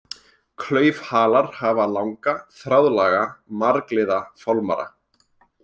Klaufhalar hafa langa, þráðlaga, margliða fálmara.